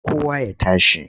Kowa ya tashi!